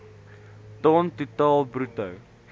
ton totaal bruto